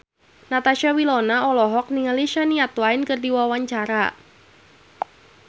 Natasha Wilona olohok ningali Shania Twain keur diwawancara